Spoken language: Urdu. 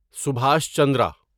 سبھاش چندرا